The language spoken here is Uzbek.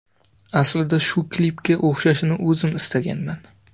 Aslida shu klipga o‘xshashini o‘zim istaganman.